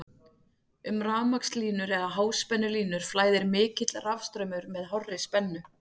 um rafmagnslínur eða háspennulínur flæðir mikill rafstraumur með hárri spennu